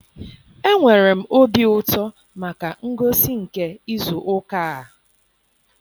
Enwere m obi ụtọ maka ngosi nke izu ụka a.